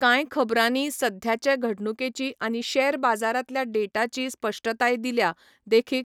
कांय खबरांनी सध्याचे घडणुकेची आनी शेअर बाजारांतल्या डेटाची स्पश्टताय दिल्या, देखीक.